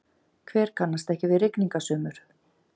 Hver kannast ekki við rigningasumur?